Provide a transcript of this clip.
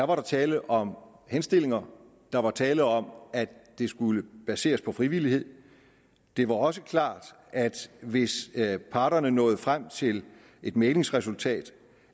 var der tale om henstillinger og der var tale om at det skulle baseres på frivillighed det var også klart at hvis parterne nåede frem til et mæglingsresultat